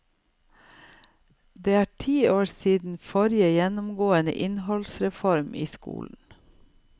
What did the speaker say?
Det er ti år siden forrige gjennomgående innholdsreform i skolen.